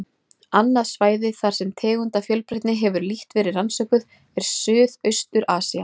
Annað svæði, þar sem tegundafjölbreytni hefur lítt verið rannsökuð, er Suðaustur-Asía.